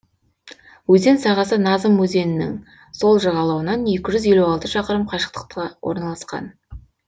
өзен сағасы назым өзенінің сол жағалауынан екі жүз елу алты шақырым қашықтықта орналасқан